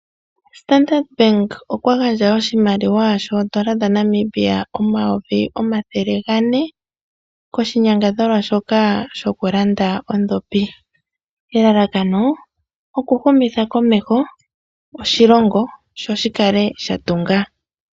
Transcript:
Ombaanga ya Standard oya gandja oshimaliwa shoondola dha Namibia omayovi omathele gane koshi nyangadhalwa shoka shoku landa ondhopi ,elalakano oku humitha komeho oshilongo sho shikale sha tunga